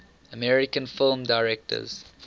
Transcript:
american film directors